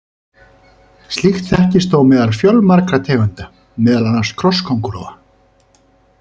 Slíkt þekkist þó meðal fjölmargra tegunda, meðal annars krossköngulóa.